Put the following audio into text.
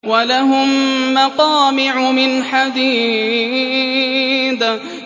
وَلَهُم مَّقَامِعُ مِنْ حَدِيدٍ